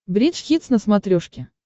бридж хитс на смотрешке